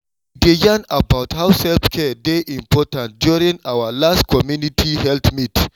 we dey yarn about how self-care dey important during our last community health meet